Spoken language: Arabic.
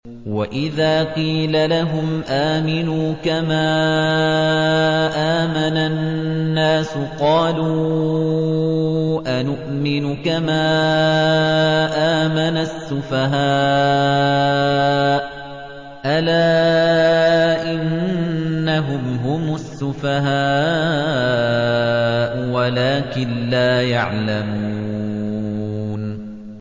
وَإِذَا قِيلَ لَهُمْ آمِنُوا كَمَا آمَنَ النَّاسُ قَالُوا أَنُؤْمِنُ كَمَا آمَنَ السُّفَهَاءُ ۗ أَلَا إِنَّهُمْ هُمُ السُّفَهَاءُ وَلَٰكِن لَّا يَعْلَمُونَ